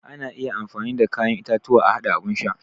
Ana iya amfani da kayan itatuwa a haɗa abun sha.